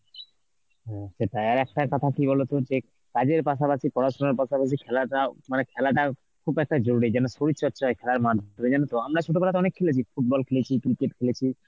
হম, সেটাই আর একটা কথা কি বলতো যে কাজের পাশাপাশি পড়াশোনার পাশাপাশি খেলাটাও মানে খেলাটা খুব একটা জরুরী যেন শরীরচর্চা হয় খেলার মাধ্যমে, জানো তো আমরা ছোটবেলায় তো অনেক খেলেছি football খেলেছি cricket খেলেছি